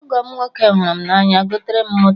Ọgọ m nwoke m hụrụ na anya goterem moto